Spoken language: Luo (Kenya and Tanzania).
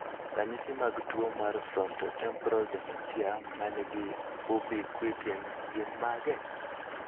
Ranyisi mag tuo mar Frontotemporal dementia, ma nigi ubiquitin, gin mage?